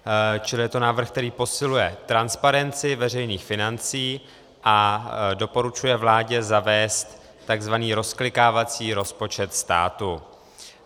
Čili je to návrh, který posiluje transparenci veřejných financí a doporučuje vládě zavést tzv. rozklikávací rozpočet státu.